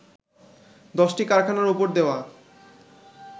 দশটি কারখানার ওপর দেওয়া